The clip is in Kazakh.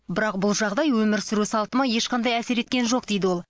бірақ бұл жағдай өмір сүру салтыма ешқандай әсер еткен жоқ дейді ол